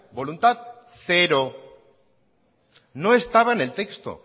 voluntad cero no estaba en el texto